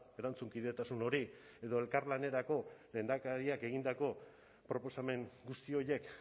erantzunkidetasun hori edo elkarlanerako lehendakariak egindako proposamen guzti horiek